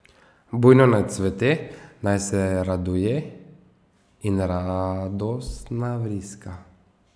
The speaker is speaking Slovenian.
Bujno naj cvete, naj se raduje in radostna vriska.